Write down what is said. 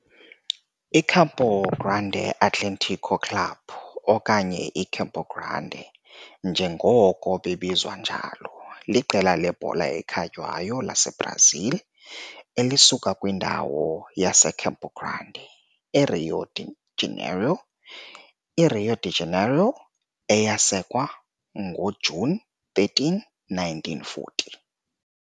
I-Campo Grande Atlético Clube, okanye iCampo Grande njengoko bebizwa njalo, liqela lebhola ekhatywayo laseBrazil elisuka kwindawo yaseCampo Grande, eRio de Janeiro eRio de Janeiro, eyasekwa ngoJuni 13, 1940.